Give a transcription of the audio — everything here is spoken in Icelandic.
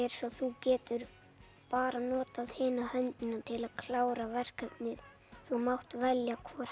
svo þú getur bara notað hina höndina til að klára verkefnið þú mátt velja hvor